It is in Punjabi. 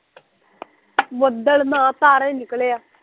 ਬਦਲ ਨਾ ਤਾਰੇ ਨਿਕਲੇ ਆ